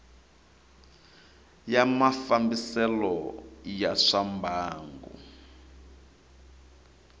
ya mafambisele ya swa mbangu